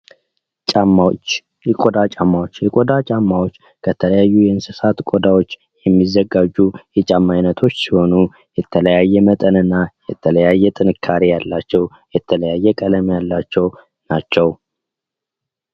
ጫማዎች የቆዳ ጫማዎች የቆዳ ጫማዎች ከተለያዩ የእንስሳት ቆዳዎች የሚዘጋጁ የጫማ አይነቶች ሲሆኑ የተለያዩ መጠንና የተለያዩ ጥንካሬ ያላቸው የተለያየ ቀለም ያላቸው ናቸው።